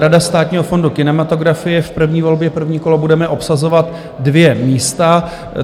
Rada Státního fondu kinematografie, v první volbě, první kolo, budeme obsazovat dvě místa.